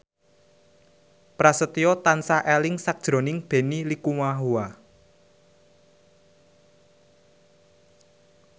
Prasetyo tansah eling sakjroning Benny Likumahua